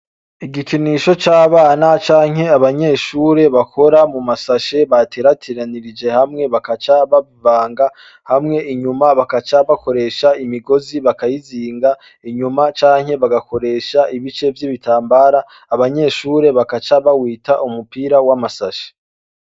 Igikinisho c'abana canke abanyeshure bakora mumashashi baterateranirije hamwe bakaca babanga hamwe inyuma bagaca bakoresha imigozi bakayizinga inyuma canke bagakoresha ibice vy'ibitambara. Abanyeshure bagaca bawita umupira w'amasashe.